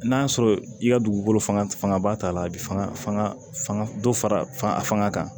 N'a sɔrɔ i ka dugukolo fanga fanga ba t'a la a bɛ fanga dɔ fara a fanga kan